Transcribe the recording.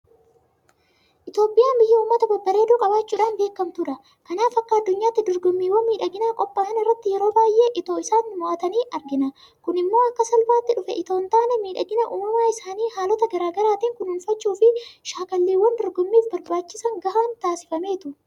Itoophiyaan biyya uummata babbareedoo qabaachuudhaan beekamtudha. Kanaaf akka addunyaatti dorgommiiwwan miidhaginaa qophaa'an irratti yeroo baay'ee itoo isaan mo'atanii argina. Kun immoo akka salphaatti dhufe itoo hintaane miidhagina uumamaa isaanii haalota garaa garaatiin kunuunfachuufi shaakalliiwwan dorgommiif barbaachisan gahaan taasifameetu.